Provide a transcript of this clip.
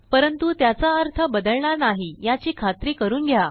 परंतु त्याचा अर्थ बदलणार नाही याची खात्री करून घ्या